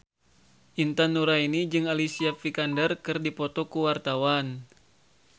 Intan Nuraini jeung Alicia Vikander keur dipoto ku wartawan